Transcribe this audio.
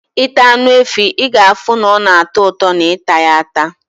Ita Anu efi, i ga afu na ona ato uto na ita ya ata